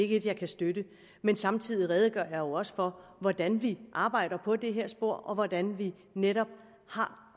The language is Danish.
et jeg kan støtte men samtidig redegør jeg jo også for hvordan vi arbejder på det her spor og hvordan vi netop